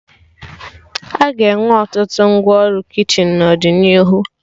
Aga enwe ọtụtụ ngwa ọrụ kichin n'ọdịnihu